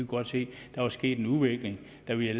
godt se der var sket en udvikling da vi